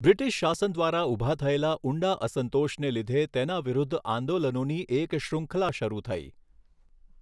British શાસન દ્વારા ઊભા થયેલા ઊંડા અસંતોષને લીધે તેના વિરુદ્ધ આંદોલનોની એક શૃંખલા શરૂ થઈ.